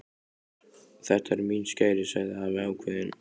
Og þetta eru mín skæri sagði afi ákveðinn.